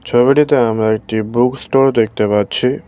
ছবিটিতে আমরা একটি বুক ষ্টোর দেখতে পাচ্ছি।